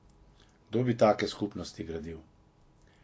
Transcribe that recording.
Kdo bi take skupnosti gradil?